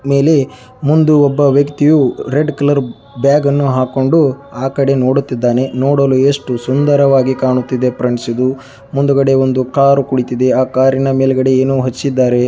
ಮುಂದು ಒಬ್ಬ ವ್ಯಕ್ತಿಯು ರೆಡ್ ಕಾಲ ಬ್ಯಾಗ ನ್ನು ಹಾಕ್ಕೊಂಡು ನೋಡ್ತಿದಾನೆ ನೋಡಲು ಎಷ್ಟು ಸುಂದರವಾಗಿ ಕಾಣ್ತಿದೆ ಇದು ಮುಂದುಗಡೆ ಒಂದು ಕಾರು ಕುಳಿತಿದೆ ಆಕಾರ ನ ಮೇಲೆ ಏನು ಹಚ್ಚಿದ್ದಾರೆ.